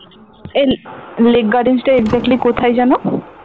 এই লেক গার্ডেনস টা exactly কোথায় যেন?